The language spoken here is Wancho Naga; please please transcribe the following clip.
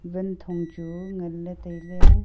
wanthonh chu ngan ley tailey.